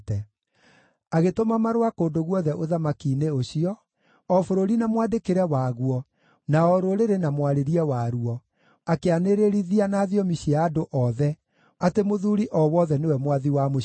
Agĩtũma marũa kũndũ guothe ũthamaki-inĩ ũcio, o bũrũri na mwandĩkĩre waguo na o rũrĩrĩ na mwarĩrie waruo, akĩanĩrĩrithia na thiomi cia andũ othe atĩ mũthuuri o wothe nĩwe mwathi wa mũciĩ wake.